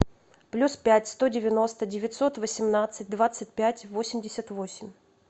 плюс пять сто девяносто девятьсот восемнадцать двадцать пять восемьдесят восемь